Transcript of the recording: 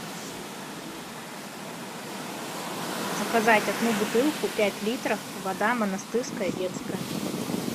заказать одну бутылку пять литров вода монастырская детская